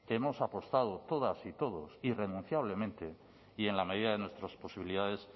hemos apostado todas y todos irrenunciablemente y en la medida de nuestras posibilidades